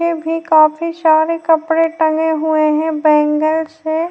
पे भी काफी सारे कपड़े टंगे हुए हैं। बैंगल्स हैं।